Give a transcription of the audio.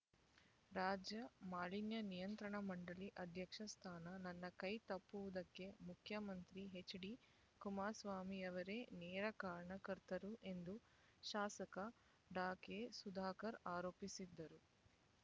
ರಾಜ್ಯ ಮಾಲಿನ್ಯ ನಿಯಂತ್ರಣ ಮಂಡಳಿ ಅಧ್ಯಕ್ಷ ಸ್ಥಾನ ನನ್ನ ಕೈ ತಪ್ಪುವುದಕ್ಕೆ ಮುಖ್ಯಮಂತ್ರಿ ಹೆಚ್ಡಿ ಕುಮಾರಸ್ವಾಮಿಯವರೇ ನೇರ ಕಾರಣಕರ್ತರು ಎಂದು ಶಾಸಕ ಡಾ ಕೆ ಸುಧಾಕರ್ ಆರೋಪಿಸಿದರು